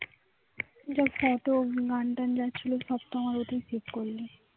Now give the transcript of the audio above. যা photo গান টান আছে সব তো আমার ওতেই save করলি